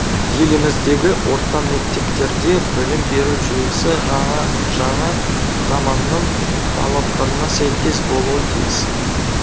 еліміздегі орта мектептерде білім беру жүйесі жана жаңа заманның талаптарына сәйкес болуы тиіс